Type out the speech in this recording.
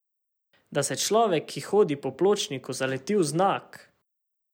Da se človek, ki hodi po pločniku, zaleti v znak!